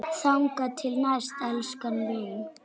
Þangað til næst, elskan mín.